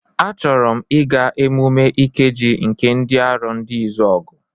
A chọrọ m ịga emume Ikeji nke ndị Arondizuogu.